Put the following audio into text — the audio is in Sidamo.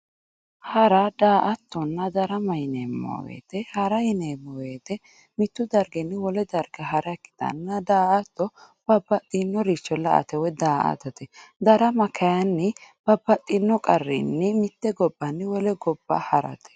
Hara, daa"attonna, darama yineemmo woyte hara yineemmo woyte mitu darginni wole darga hara ikkittanna daa"atto babbaxxinoricho la"ate woyi daa"attate darama kayinni babbaxxino qarrinni mite gobbanni wole gobba harate.